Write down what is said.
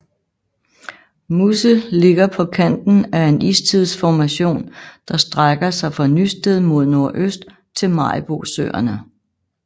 Musse ligger på kanten af en istidsformation der strækker sig fra Nysted mod nordøst til Maribosøerne